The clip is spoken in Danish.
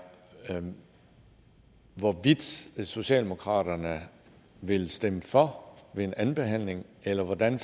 hvorvidt socialdemokratiet vil stemme for ved en andenbehandling eller hvordan